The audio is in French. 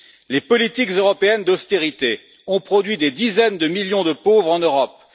Les politiques européennes d'austérité ont produit des dizaines de millions de pauvres en Europe.